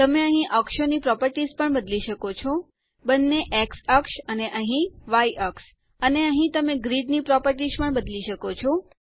તમે અહીં અક્ષો ની પ્રોપરટીશ બદલી શકો છો બંને એક્સ અક્ષ અને અહીં વાય અક્ષ અને અહીં તમે ગ્રીડની પ્રોપરટીશ બદલી શકો છો